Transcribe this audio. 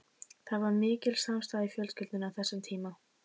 Það var mikil samstaða í fjölskyldunni á þessum tíma.